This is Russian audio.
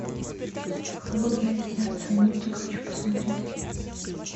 холодное сердце мультик хочу посмотреть